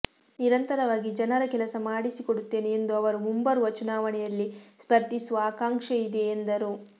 ನಿರಂತರವಾಗಿ ಜನರ ಕೆಲಸ ಮಾಡಿಸಿಕೊಡುತ್ತೇನೆ ಎಂದ ಅವರು ಮುಂಬರುವ ಚುನಾವಣೆಯಲ್ಲಿ ಸ್ಪರ್ಧಿಸುವ ಆಕಾಂಕ್ಷೆ ಇದೆ ಎಂದರು